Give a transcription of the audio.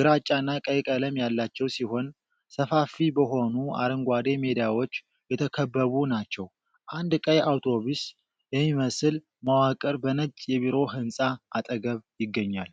ግራጫና ቀይ ቀለም ያላቸው ሲሆን፤ ሰፋፊ በሆኑ አረንጓዴ ሜዳዎች የተከበቡ ናቸው። አንድ ቀይ አውቶቡስ የሚመስል መዋቅር በነጭ የቢሮ ሕንፃ አጠገብ ይገኛል።